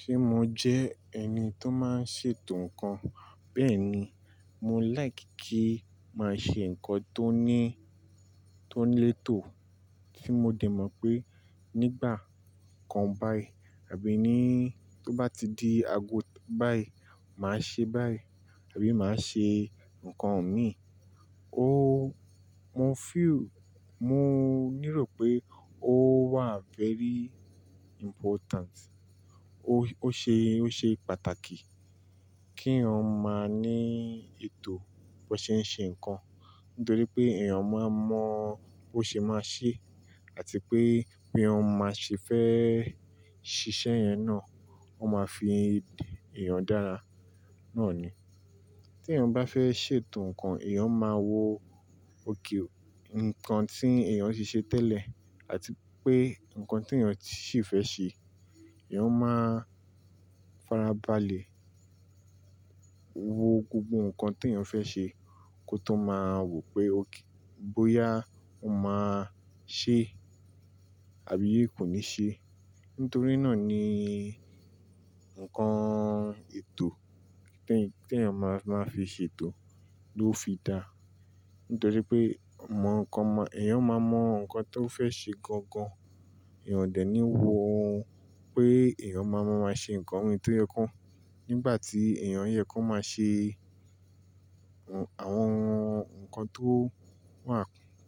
Ṣé mo jẹ́ ẹni tó máa ń ṣètò ǹkan? Bẹ́ẹ̀ ni, mo like kí màá ṣe ǹkan tó ní, tó ń lé ètò, tí mo dè mọ̀ pé nígbà kan báyìí àbí ní tó bá ti di ago báyìí, màá ṣe báyìí àbí màá ṣe ǹkan mi. O-- mo feel, mo nírò pé ó wà very important. Ó, ó ṣe, ó ṣe pàtàkì kí eyan maa ní ètò bó ṣe ń ṣe ǹkan. Nítorí pé èèyàn máa mọ̀ ó ṣe máa ṣe àti pé bí ọmọ ṣe fẹ́ ṣiṣẹ́ yẹn náà, ó máa fi èèyàn dára. Náà ni. Tí èèyàn bá fẹ́ ṣètò ǹkan, èèyàn máa wo ókè ǹkan tí èèyàn ṣe ṣe tẹ́lẹ̀ àti pé ǹkan tí èèyàn sì fẹ́ ṣe. Ìyẹn máa farabalẹ̀ wo gbogbo ǹkan tí èèyàn fẹ́ ṣe kó tó máa wò pé ókè bóyá ó máa ṣe àbí kò ní ṣe. Nítorí náà ni ǹkan ètò tí èèyàn máa, máa fi ṣètò ló fi dá. Nítorí pé mọ ǹkan, èèyàn máa mọ ǹkan tí ó fẹ́ ṣe gangan. Ìyẹn ò dě ní wo pé èèyàn máa mọ̀ máa ṣe ǹkan wí tó yẹ kó. Nígbà tí èèyàn yẹ kó máa ṣe àwọn ǹkan tó wà,